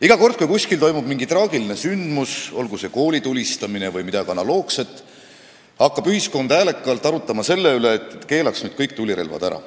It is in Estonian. Iga kord, kui kuskil toimub mingi traagiline sündmus, olgu see koolitulistamine või midagi analoogset, hakkab ühiskond häälekalt arutlema selle üle, et kui keelaks nüüd kõik tulirelvad ära.